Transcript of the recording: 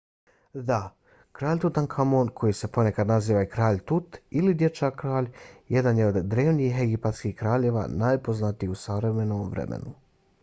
da! kralj tutankamon koji se ponekad naziva i kralj tut ili dječak-kralj jedan je od drevnih egipatskih kraljeva najpoznatiji u savremenom vremenu